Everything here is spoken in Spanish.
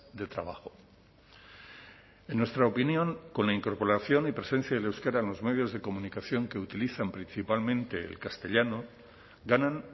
de trabajo en nuestra opinión con la incorporación y presencia del euskera en los medios de comunicación que utilizan principalmente el castellano ganan